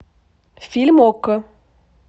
фильм окко